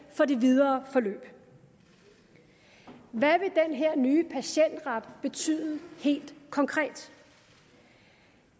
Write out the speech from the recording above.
for det videre forløb hvad vil den her nye patientret betyde helt konkret